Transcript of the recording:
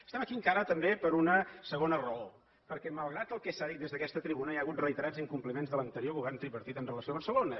estem aquí encara també per una segona raó perquè malgrat el que s’ha dit des d’aquesta tribuna hi ha hagut reiterats incompliments de l’anterior govern tripartit amb relació a barcelona